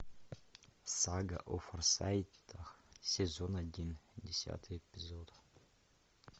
сага о форсайтах сезон один десятый эпизод